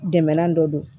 Dɛmɛnan dɔ don